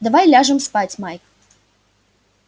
давай ляжем спать майк